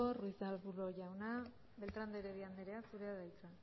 ruiz de arbulo jauna beltrán de heredia andrea zurea da hitza